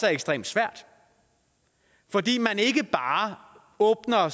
er ekstremt svært fordi man ikke bare åbner